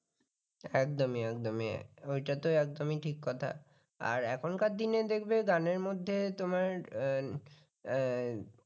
একদমই একদমই ওইটা তো একদমই ঠিক কথা আর এখনকার দিনে দেখবে গানের মধ্যে তোমার অ্যাঁ